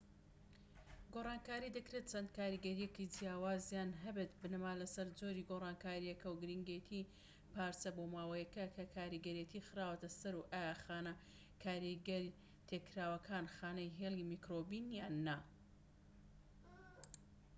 گۆڕانکاری دەکرێت چەند کاریگەریەکی جیاوازیان هەبێت بنەما لەسەر جۆری گۆڕانکاریەکە و گرنگێتیی پارچە بۆماوەییەکە کە کاریگەرێتی خراوەتە سەر و ئایا خانە کاریگەر تێکراوەکان خانەی هێلی میکرۆبین یان نا